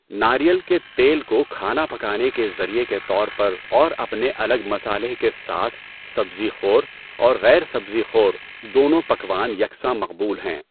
ناریل کے تیل کو کھانا پکانے کے ذریعہ کے طور پر اور اپنے الگ مصالحے کے ساتھ، سبزی خور اور غیر سبزی خور دونوں پکوان یکساں مقبول ہیں۔